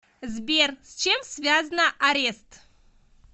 сбер с чем связна арест